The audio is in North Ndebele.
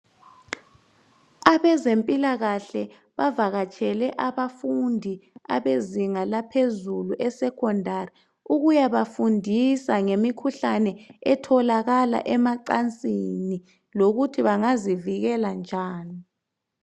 Abezempilakahle bavakatshele abafundi abezinga laphezulu eleSekhondari ukuyabafundisa ngemikhuhlane etholakala emacansini lokuthi bangazivikela njani.